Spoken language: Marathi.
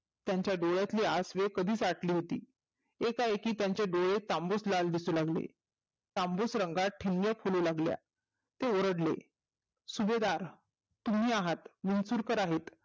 त्याच्या डोळ्यातली आसवे कधीच आटली होती. एका एकी त्याचे डोळे तांबुस लाल दिसू लागले. तांबूस रंगात ठिनग्या पडू लागल्या ते ओरडले सुभेदार तुम्ही आहात विंचुरकर आहेत.